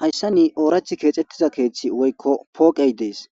Hayssan ooraththi keexetiza keeththi woykko pooqey deesi.